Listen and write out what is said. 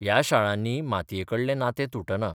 ह्या शाळांनी मातयेकडलें नातें तुटना.